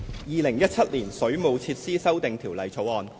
《2017年水務設施條例草案》。